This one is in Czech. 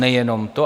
Nejenom to.